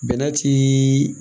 Bɛnɛ ti